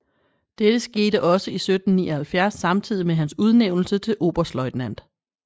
Dette skete også i 1779 samtidig med hans udnævnelse til oberstløjtnant